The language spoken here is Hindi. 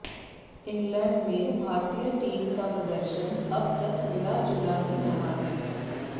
इंग्लैंड में भारतीय टीम का प्रदर्शन अब तक मिला जुला ही रहा है